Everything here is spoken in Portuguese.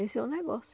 Esse é o negócio.